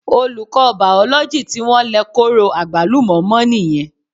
Olùkọ́ Bàòlójì tí wọ́n lẹ kóró àgbálùmọ́ mọ́ nìyẹn